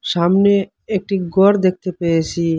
সামনে একটি গর দেখতে পেয়েসি।